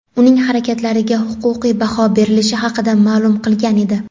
uning harakatlariga huquqiy baho berilishi haqida ma’lum qilgan edi.